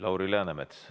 Lauri Läänemets.